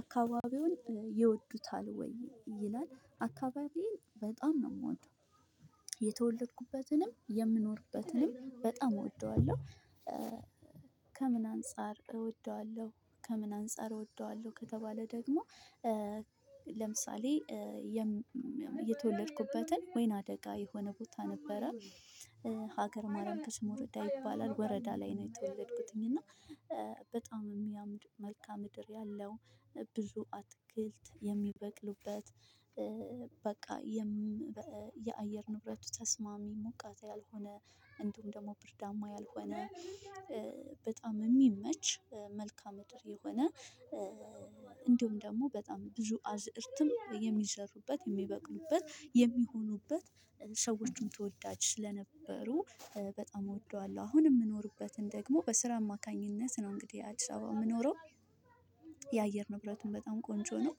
አካባቢውን ይወዱታል ወይ? ይላል አካባቢዬን በጣም ነው የምወደው። የተወለድኩበትንም የምንወርብበትንም በጣም እወደዋለሁ። ከምን አንፃር እወደዋለሁ ከምን አንፃር እወደዋለሁ ከተባለ ደግሞ ለምሳሌ የተወለድኩበትን ወይን አደጋ የሆነ ቦታ ነበረ ሀገር ማረም ከስሙርዳ ይባላል ወረዳ ላይ ነው የተወለድኩትኝ እና በጣም የሚያምር መልካ ምድር ያለው ብዙ አትክልት የሚበቅሉበት በቃ የአየር ንብረቱ ተስማሚ ሙቀት ያልሆነ እንዲሁም ደግሞ ብርዳማ ያልሆነ በጣም የሚመች መልካም የሆነ እንዲሁም ደግሞ በጣም ብዙ አዝርትም የሚዘሩበት የሚበቅሉበት የሚሆኑበት ሰዎችም ተወዳጅ ስለነበሩ በጣም እወደዋለሁ። አሁን የምኖርበትን ደግሞ በስራ አማካኝነት ነው እንግዲህ አዲስ አበባ የምኖረው። የአየር ንብረቱን በጣም ቆንጆ ነው።